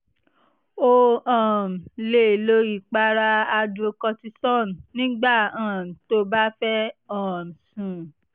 o um lè lo ìpara hydrocortisone nígbà um tó o bá fẹ́ um sùn